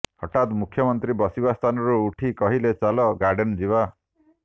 ହଠାତ୍ ମୁଖ୍ୟମନ୍ତ୍ରୀ ବସିବା ସ୍ଥାନରୁ ଉଠି କହିଲେ ଚାଲ ଗାର୍ଡେନ୍ ଯିବା